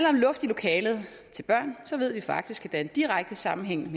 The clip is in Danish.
om luft i lokalet til børn ved vi faktisk er en direkte sammenhæng